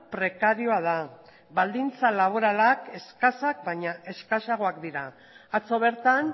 prekarioa da baldintza laboralak eskasak baina eskasagoak dira atzo bertan